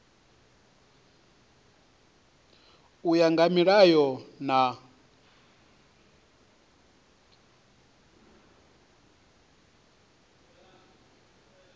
u ya nga milayo na